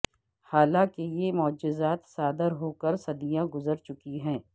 حالانکہ یہ معجزات صادر ہوکر صدیاں گزر چکی ہیں